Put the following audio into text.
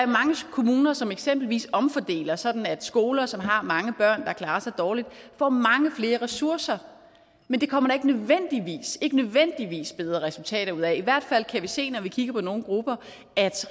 kommuner som eksempelvis omfordeler sådan at skoler som har mange børn der klarer sig dårligt får mange flere ressourcer men det kommer der ikke nødvendigvis ikke nødvendigvis bedre resultater ud af i hvert fald kan vi se når vi kigger på nogle grupper at